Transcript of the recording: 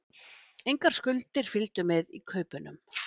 Engar skuldir fylgdu með í kaupunum